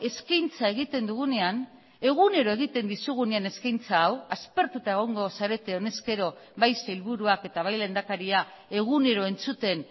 eskaintza egiten dugunean egunero egiten dizugunean eskaintza hau aspertuta egongo zarete honezkero bai sailburuak eta bai lehendakaria egunero entzuten